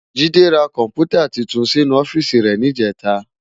Jide rá kòmpútá túntún sinú òfìsí rè nijètá